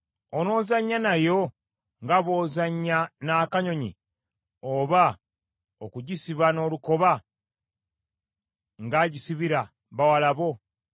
Onoozannya nayo nga bw’ozannya n’akanyonyi, oba okugisiba n’olukoba ng’agisibira bawala bo?